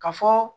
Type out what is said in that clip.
Ka fɔ